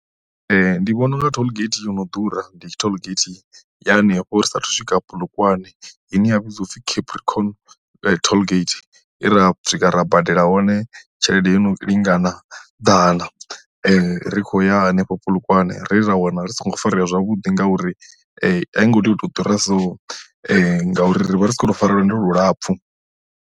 Ndi vhona unga tollgate yono ḓura ndi tollgate ya henefho ri sathu swika Polokwane ine ya vhidziwa u pfi Capricorn tollgate he ra swika ra badela hone tshelede i no lingana ḓana ri khou ya henefho Polokwane ra wana ri songo farea zwavhuḓi ngauri aingo tea u to ḓura so ngauri rivha ri sa kho to fara lwendo lulapfu.